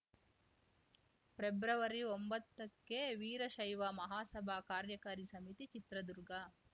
ಪ್ರೆಬ್ರವರಿಒಂಬತ್ತಕ್ಕೆ ವೀರಶೈವ ಮಹಾಸಭಾ ಕಾರ್ಯಕಾರಿ ಸಮಿತಿ ಚಿತ್ರದುರ್ಗ